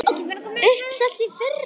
Uppselt í fyrra!